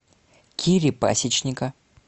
кири пасечника